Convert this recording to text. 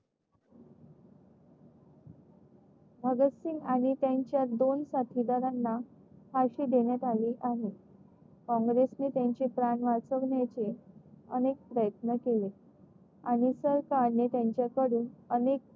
भगत सिंग आणि त्यांच्या दोन साथीदारांना फाशी देण्यात आली आहे. काँग्रेस ने त्याचे प्राण वाचवण्याचे अनेक प्रयत्न केले. आणि सरकारने त्यांच्याकडून